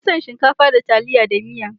Ni na fi son shinkafa da taliya da miya.